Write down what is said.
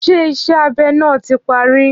Ṣé ìṣe abe náà tí parí?